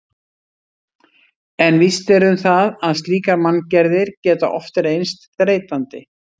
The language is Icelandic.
En víst er um það að slíkar manngerðir geta oft reynst þreytandi.